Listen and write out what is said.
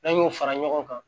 N'an y'o fara ɲɔgɔn kan